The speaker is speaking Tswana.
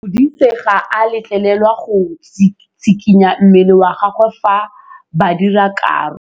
Modise ga a letlelelwa go tshikinya mmele wa gagwe fa ba dira karô.